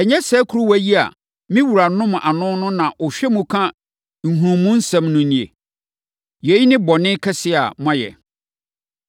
Ɛnyɛ saa kuruwa yi a me wura nom ano na ɔhwɛ mu ka nhunumusɛm no nie? Yei yɛ bɔne kɛseɛ a moayɛ.’ ”